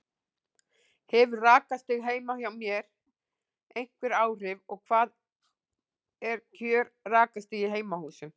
Hefur rakastig heima hjá mér einhver áhrif og hvað er kjör rakastig í heimahúsum?